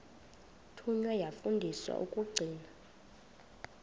thunywa yafundiswa ukugcina